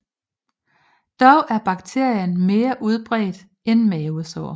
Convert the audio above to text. Dog er bakterien mere udbredt end mavesår